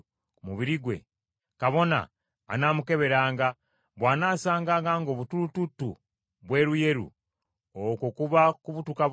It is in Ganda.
kabona anaamukeberanga, bw’anaasanganga ng’obutulututtu bweruyeru, okwo kuba kubutukabutuka okuyiise ku lususu lw’omuntu oyo, ye aba mulongoofu.